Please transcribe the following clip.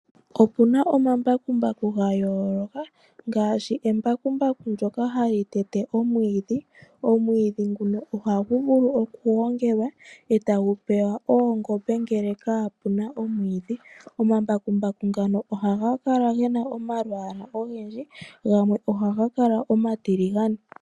Opu na omambakumbaku ga yooloka ngashi embakumbaku ndyoka hali tete omwiidhi. Omwiidhi nguno ohagu vulu okugongelwa eta gu pewa oongombe ngele kapu na omwiidhi. Omambakumbaku ngano ohaga kala ge na omalwaala ogendji, gamwe ohaga kala omatiligane.